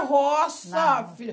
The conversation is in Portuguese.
É roça, filha.